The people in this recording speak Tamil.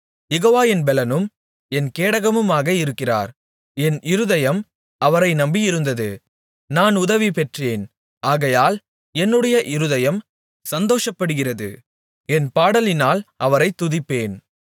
யெகோவா என் பெலனும் என் கேடகமுமாக இருக்கிறார் என் இருதயம் அவரை நம்பி இருந்தது நான் உதவி பெற்றேன் ஆகையால் என்னுடைய இருதயம் சந்தோஷப்படுகிறது என் பாடலினால் அவரைத் துதிப்பேன்